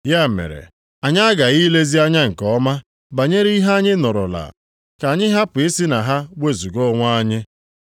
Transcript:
Ya mere, anyị aghaghị ilezi anya nke ọma banyere ihe anyị nụrụla, ka anyị hapụ isi na ha wezuga onwe anyị.